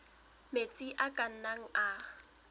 metsi a ka nnang a